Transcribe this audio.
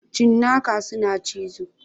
Cinnaka suna cizo.